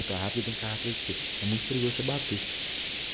куда ты конструкций и мы пригласим а ты